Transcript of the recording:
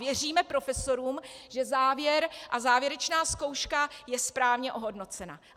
Věříme profesorům, že závěr a závěrečná zkouška je správně ohodnocena.